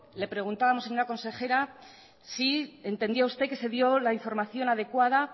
le preguntábamos señora consejera si entendía usted que se dio la información adecuada